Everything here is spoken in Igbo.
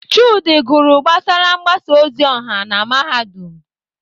Chude gụrụ gbasara mgbasa ozi ọha na Mahadum.